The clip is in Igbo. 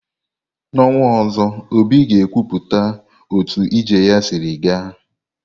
N'ọnwa ọzọ, obi ga ekwupụta otu ije ya sịrị ga.